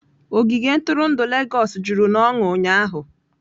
Ogige ntụrụndụ Legọs juru n'ọnụ ụnyahụ.